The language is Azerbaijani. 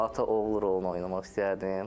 Ata-oğul rolu oynamaq istəyərdim.